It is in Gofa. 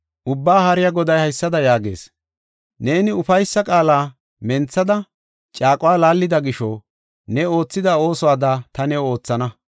Ubbaa Haariya Goday haysada yaagees; “Neeni ufaysa qaala menthada, caaquwa laallida gisho ne oothida oosuwada ta new oothana.